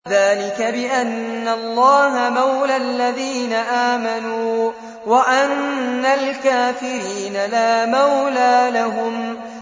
ذَٰلِكَ بِأَنَّ اللَّهَ مَوْلَى الَّذِينَ آمَنُوا وَأَنَّ الْكَافِرِينَ لَا مَوْلَىٰ لَهُمْ